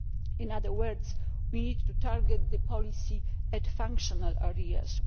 In other words, we need to target the policy at functional areas.